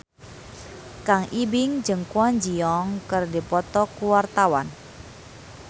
Kang Ibing jeung Kwon Ji Yong keur dipoto ku wartawan